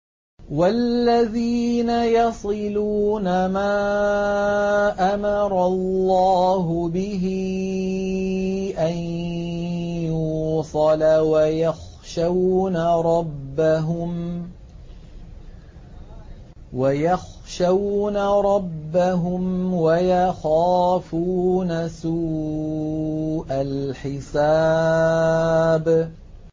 وَالَّذِينَ يَصِلُونَ مَا أَمَرَ اللَّهُ بِهِ أَن يُوصَلَ وَيَخْشَوْنَ رَبَّهُمْ وَيَخَافُونَ سُوءَ الْحِسَابِ